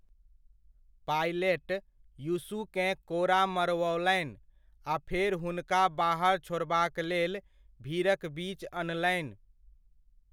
Pilot यीशुकेँ कोड़ा मरवौलनि आ फेर हुनका बाहर छोड़बाक लेल भीड़क बीच अनलनि।